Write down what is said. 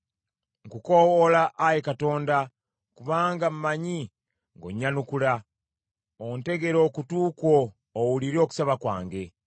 Nkukoowoola, Ayi Katonda, kubanga mmanyi ng’onnyanukula; ontegere okutu kwo owulire okusaba kwange.